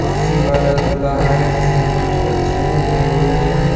कुर्सी वाला झूला है जिसमें कुछ बच्चे बैठे हुए है।